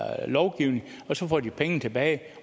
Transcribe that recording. lovgivningen får de pengene tilbage